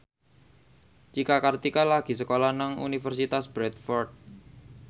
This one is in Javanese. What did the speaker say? Cika Kartika lagi sekolah nang Universitas Bradford